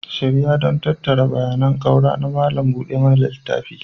Shirya don tattara bayanan ƙaura na malam buɗe mana littafi